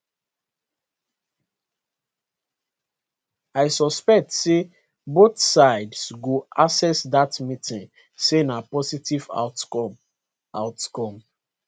i suspect say both sides go assess dat meeting say na positive outcome outcome